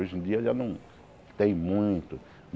Hoje em dia já não tem muito.